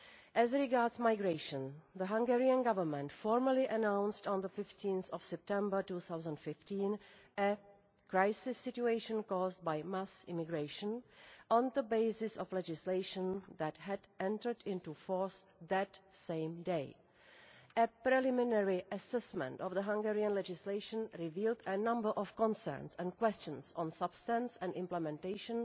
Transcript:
As regards migration, the Hungarian Government formally announced on 15 September 2015 a crisis situation caused by mass immigration' on the basis of legislation that had entered into force that same day. A preliminary assessment of the Hungarian legislation revealed a number of concerns and questions on substance and implementation